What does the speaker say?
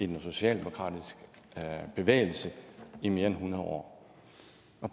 den socialdemokratiske bevægelse i mere end hundrede år